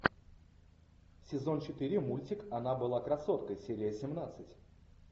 сезон четыре мультик она была красоткой серия семнадцать